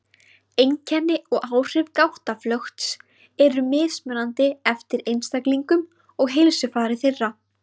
Einkenni og áhrif gáttaflökts eru mismunandi eftir einstaklingum og heilsufari þeirra.